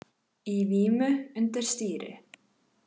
Í vímu undir stýri